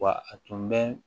Wa a tun bɛ